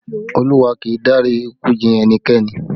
Olúwa kì í dárí ikú ji ẹnikẹ́ni